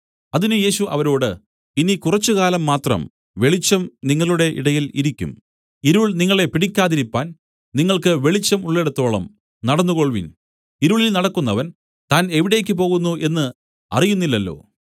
അതിന് യേശു അവരോട് ഇനി കുറച്ചുകാലം മാത്രം വെളിച്ചം നിങ്ങളുടെ ഇടയിൽ ഇരിക്കും ഇരുൾ നിങ്ങളെ പിടിക്കാതിരിപ്പാൻ നിങ്ങൾക്ക് വെളിച്ചം ഉള്ളിടത്തോളം നടന്നുകൊൾവിൻ ഇരുളിൽ നടക്കുന്നവൻ താൻ എവിടെ പോകുന്നു എന്നു അറിയുന്നില്ലല്ലോ